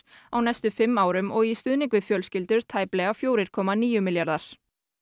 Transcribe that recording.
á næstu fimm árum og í stuðning við fjölskyldur tæplega fjögurra komma níu milljarðar